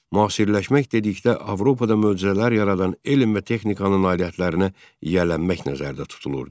Müasirləşmək dedikdə Avropada möcüzələr yaradan elm və texnikanın nailiyyətlərinə yiyələnmək nəzərdə tutulurdu.